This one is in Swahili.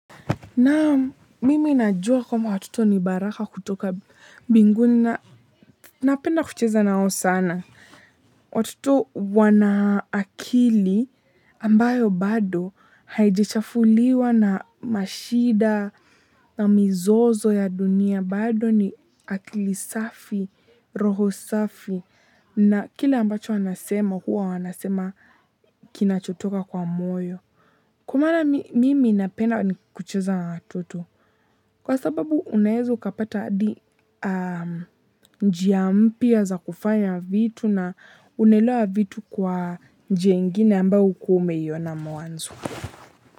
Naam mimi najua kwamba watoto nibaraka kutoka mbinguni na napenda kucheza nao sana. Watoto wanaakili ambayo bado haijichafuliwa na mashida na mizozo ya dunia bado ni akili safi, roho safi. Na kile ambacho wanasema hua wanasema kinachotoka kwa moyo. Kwamaana mimi napenda ni kucheza na watoto. Kwa sababu unaweza ukapata hadi njiampya za kufanya vitu na unaelewa vitu kwa njiaingine ambayo hukuaume iyona mwanzo.